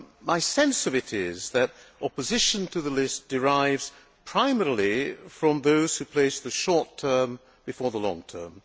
My sense of it is that opposition to the list derives primarily from those who place the short term before the long term.